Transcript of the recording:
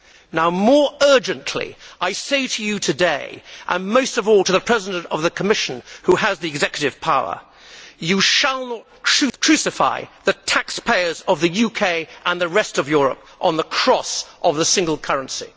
Now more urgently, I say to you today, and most of all to the President of the Commission, who has the executive power you shall not crucify the taxpayers of the UK and the rest of Europe on the cross of the single currency.